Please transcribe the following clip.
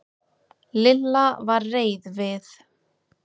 Lilla var reið við